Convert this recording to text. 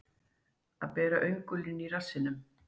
Að bera öngulinn í rassinum